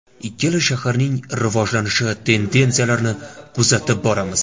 Ikkala shaharning rivojlanish tendensiyalarini kuzatib boramiz.